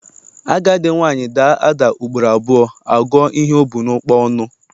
Agadi nwaanyị daa ada ugboro abụọ, a gụọ ihe o bu n'ụkpa ọnụ.